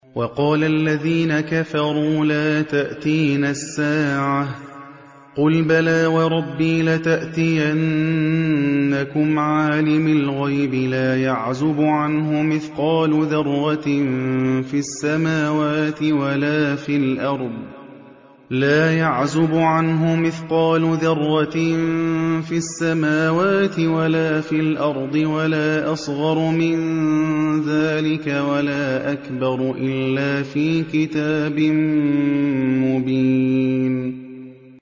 وَقَالَ الَّذِينَ كَفَرُوا لَا تَأْتِينَا السَّاعَةُ ۖ قُلْ بَلَىٰ وَرَبِّي لَتَأْتِيَنَّكُمْ عَالِمِ الْغَيْبِ ۖ لَا يَعْزُبُ عَنْهُ مِثْقَالُ ذَرَّةٍ فِي السَّمَاوَاتِ وَلَا فِي الْأَرْضِ وَلَا أَصْغَرُ مِن ذَٰلِكَ وَلَا أَكْبَرُ إِلَّا فِي كِتَابٍ مُّبِينٍ